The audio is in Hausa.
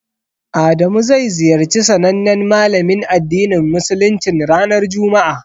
Adamu zai ziyarci sanannen malamin addinin musuluncin ranar juma'a.